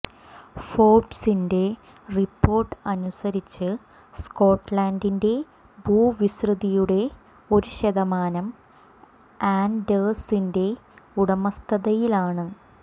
ഫോര്ബ്സിന്റെ report അനുസരിച്ച് സ്കോട്ടലന്റിന്റെ ഭൂവിസ്തൃതിയുടെ ഒരു ശതമാനം ആന്ഡേഴ്സിന്റെ ഉടമസ്ഥതയിലാണ്